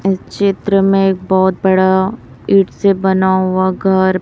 इस चित्र में बहोत बड़ा ईंट से बना हुआ घर--